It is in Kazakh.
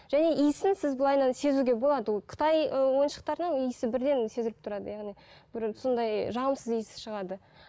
және иісін сіз былайынан сезуге болады ол қытай ы ойыншықтарының иісі бірден сезіліп тұрады яғни бір сондай жағымсыз иіс шығады